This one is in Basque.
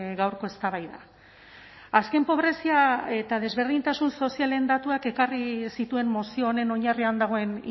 gaurko eztabaida azken pobrezia eta desberdintasun sozialen datuak ekarri zituen mozio honen oinarrian dagoen